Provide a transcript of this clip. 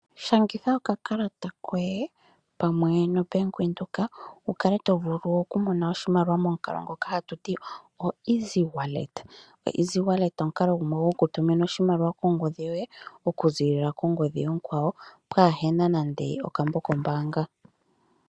Shangitha okakalata koye pamwe noBank Windhoek wu kale tovulu okumona oshimaliwa momukalo ngoka hatu ti oeasy wallet. Easy wallet omukalo gumwe gokutuma oshimaliwa kongodhi yoye okuzilila kongodhi onkwawo kapu na nande okambo kombanga.